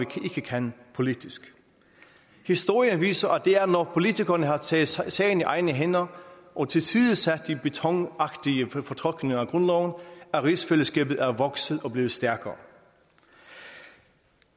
kan politisk historien viser at det er når politikerne har taget sagen i egne hænder og tilsidesat de betonagtige fortolkninger af grundloven at rigsfællesskabet er vokset og blevet stærkere